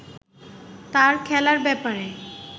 তার খেলার ব্যাপারে